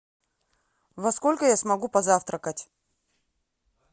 во сколько я смогу позавтракать